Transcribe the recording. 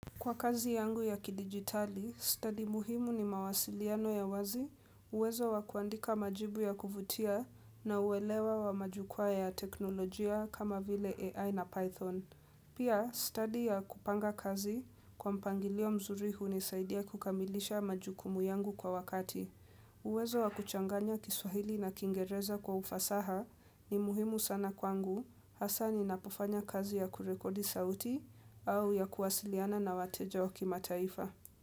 Kwa kazi yangu ya kidigitali, study muhimu ni mawasiliano ya wazi uwezo wa kuandika majibu ya kuvutia na uwelewa wa majukwa ya teknolojia kama vile AI na Python. Pia, study ya kupanga kazi kwa mpangilio mzuri hunisaidia kukamilisha majukumu yangu kwa wakati. Uwezo wa kuchanganya kiswahili na kiingereza kwa ufasaha ni muhimu sana kwangu. Hasaa ninapofanya kazi ya kurekodi sauti au ya kuwasiliana na wateja wa kimataifa.